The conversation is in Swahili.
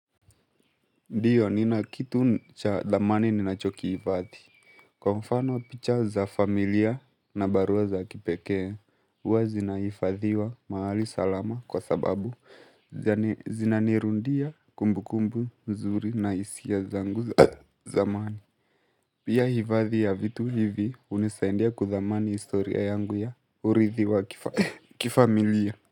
Ndiyo nina kitu ncha thamani ninachoki hifadhi. Kwa mfano picha za familia na barua za kipekee, uwa zinaifadhiwa mahali salama kwa sababu zinanirundia kumbu kumbu mzuri na hisi zangu za zamani. Pia hifadhi ya vitu hivi hunisainia kuthamani historia yangu ya urithi wa kifamilia.